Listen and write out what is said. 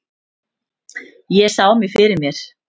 Ég sá mig fyrir mér.